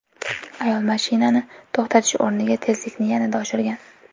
Ayol mashinani to‘xtatish o‘rniga tezlikni yanada oshirgan.